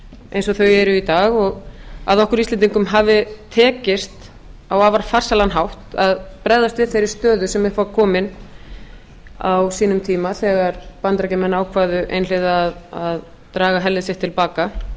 eins og þau eru í dag og að okkur íslendingum hafi tekist á afar farsælan hátt að bregðast við þeirri stöðu sem upp var komin á sínum tíma þegar bandaríkjamenn ákváðu einhliða að draga herlið sitt til baka